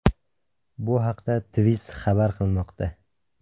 Bu haqda Twizz xabar qilmoqda .